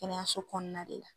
Kɛnɛyaso kɔnɔna de la.